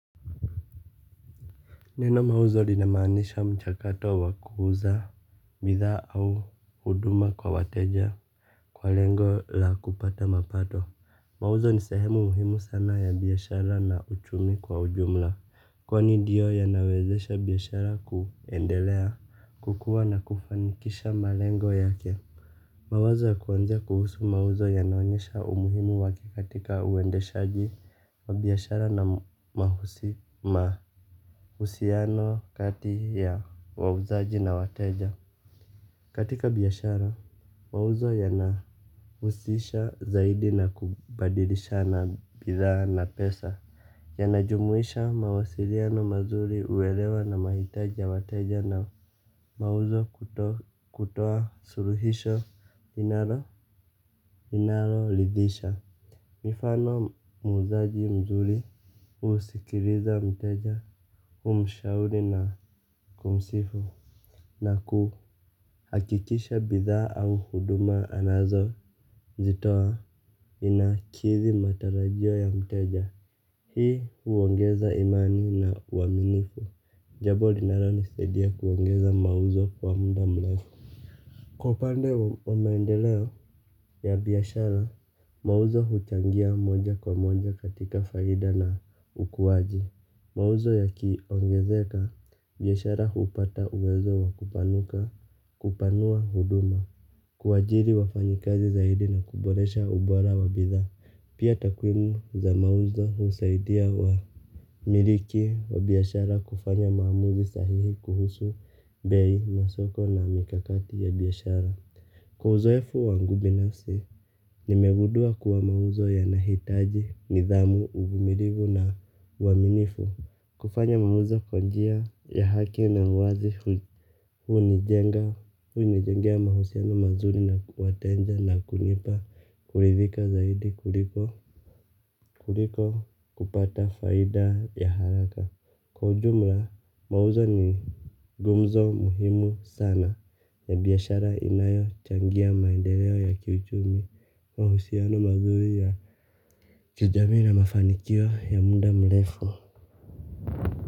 Neno mauzo linamaanisha mchakato wa kuuza. Bidhaa au huduma kwa wateja kwa lengo la kupata mapato mauzo ni sehemu muhimu sana ya biashara na uchumi kwa ujumla. Kwani ndio yanawezesha biashara kuendelea kukuwa na kufanikisha malengo yake. Mawazo ya kuwanza kuhusu mauzo yanaonyesha umuhimu wake katika uendeshaji wa biashara na mahusi mahusiano kati ya wauzaji na wateja katika biashara, mauzo yanahusisha zaidi na kubadilisha na bidhaa na pesa. Yanajumuisha mawasiliano mazuri uwelewa na mahitaji ya wateja na mauzo kutoa suluhisho inalo ridhisha. Mifano muuzaji mzuri husikiliza mteja humshauri na kumsifu. Na kuhakikisha bidhaa au huduma anazo zitoa inakithi matarajio ya mteja. Hii uongeza imani na uaminifu. Jambo linaloni saidia kuongeza mauzo kwa muda mrefu kwa upande wa maendeleo ya biashara. Mauzo huchangia moja kwa moja katika faida na ukuaji. Mauzo yakiongezeka biashara hupata uwezo wakupanuka kupanua huduma. Kuajiri wafanyikazi zaidi na kuboresha ubora wabitha. Pia takwimu za mauzo husaidia wamiliki wa biashara kufanya maamuzi sahihi kuhusu bei masoko na mikakati ya biashara. Kwa uzoefu wangu binasi, nimegundua kuwa mauzo yanahitaji nidhamu uvumilivu na uwaminifu kufanya mauzo kwa njia ya haki na uwazi huu nijenga hunijengea mahusiano mazuri na wateja na kunipa kurithika zaidi kuliko kupata faida ya haraka. Kwa ujumla mauzo ni gumzo muhimu sana ya biashara inayo changia maendeleo ya kiuchumi mahusiano mazuri ya kijami na mafanikio ya muda mrefu.